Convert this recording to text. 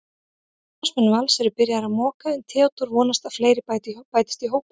Starfsmenn Vals eru byrjaðir að moka en Theódór vonast að fleiri bætist í hópinn.